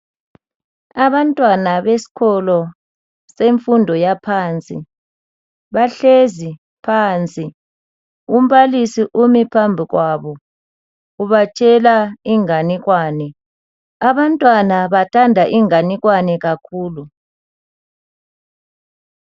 Abantwana besikolo semfundo yaphansi bahlezi phansi umbalisi umi phambi kwabo ubatshela inganekwane abantwana bathanda inganekwane kakhulu.